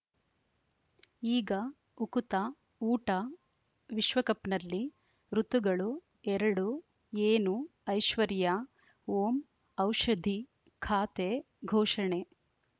ಈಗ ಉಕುತ ಊಟ ವಿಶ್ವಕಪ್‌ನಲ್ಲಿ ಋತುಗಳು ಎರಡು ಏನು ಐಶ್ವರ್ಯಾ ಓಂ ಔಷಧಿ ಖಾತೆ ಘೋಷಣೆ